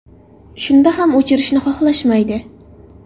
Shunda ham o‘chirishni xohlashmaydi.